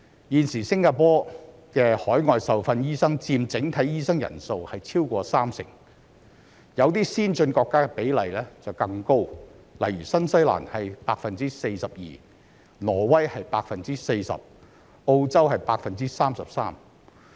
現時新加坡的海外受訓醫生佔整體醫生人數超過三成，有些先進國家的比例更高，例如新西蘭是 42%、挪威是 40%、澳洲是 33%。